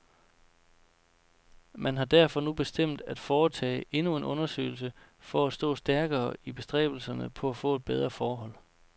Man har derfor nu bestemt at foretage endnu en undersøgelse for at stå stærkere i bestræbelserne på at få bedre forhold.